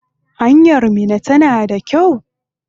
Hanyar Minna tana da kyau?